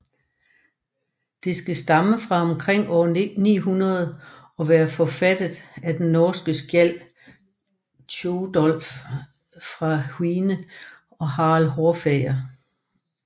Det skal stamme fra omkring år 900 og være forfattet af den norske skjald Tjodolv fra Hvine til Harald Hårfager